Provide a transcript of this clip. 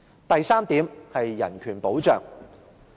第三點，人權保障。